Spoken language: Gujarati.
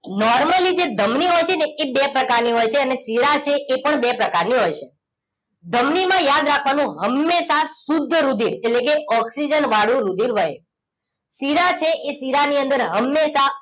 નૉર્મલી જે ધામની હોય છે એ બે પ્રકાર ની હોય છે અને શીરા છે એ પણ બે પ્રકાર ની હોય છે ધમની માં યાદ રાખવા નું હંમેશા શુદ્ધ રુધિર એટલે કે ઓક્સિજન વાળું રુધિર વહે શીરા કે એ શીરા ની અંદર હમેશા